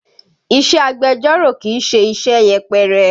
Iṣẹ́ agbẹjọ́rò kì í ṣe iṣẹ́ yẹpẹrẹ.